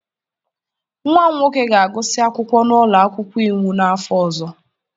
Nwa m nwoke ga-agụsị akwụkwọ n'ụlọ akwụkwọ iwu n'afọ ọzọ.